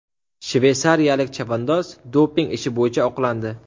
Shveysariyalik chavandoz doping ishi bo‘yicha oqlandi.